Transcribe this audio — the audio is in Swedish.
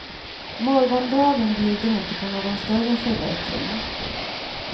Morgondagen bjuder inte på någon större förbättring.